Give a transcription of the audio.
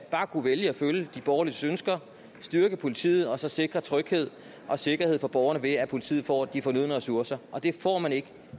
bare kunne vælge at følge de borgerliges ønsker styrke politiet og så sikre tryghed og sikkerhed for borgerne ved at politiet får de fornødne ressourcer og det får man ikke